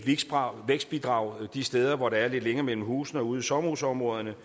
vækstbidrag de steder hvor der er lidt længere mellem husene og ude i sommerhusområderne